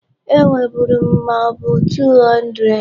Enweburu m mabụ 200.